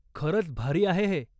खरंच भारी आहे हे.